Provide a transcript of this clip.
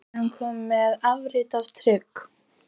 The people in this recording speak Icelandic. Við erum komnir með afrit af trygg